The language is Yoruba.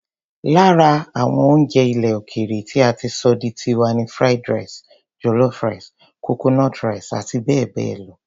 Lára àwọn oúnjẹ ilẹ̀ òkèèrè tí a ti sọ di tiwa ni Fried rice, jollof rice, coconut rice àti bẹ́ẹ̀ bẹ́ẹ̀ lọ.